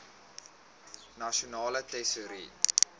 nasionale tesourie